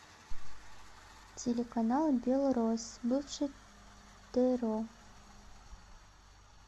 телеканал белрос бывший тро